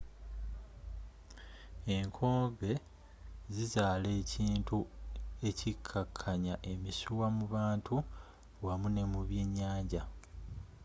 enkooge zizaala ekintu ekikkakkanya emisuwa mu bantu wamu ne mu byenyanja